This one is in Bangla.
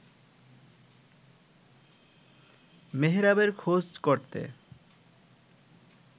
মেহেরাবের খোঁজ করতে